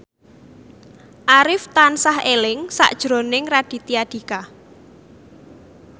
Arif tansah eling sakjroning Raditya Dika